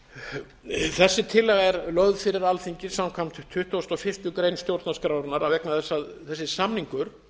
ári þessi tillaga er lögð fyrir alþingi samkvæmt tuttugustu og fyrstu grein stjórnarskrárinnar vegna þess að þessi samningur